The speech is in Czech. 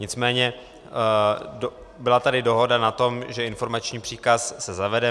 Nicméně byla tady dohoda na tom, že informační příkaz se zavede.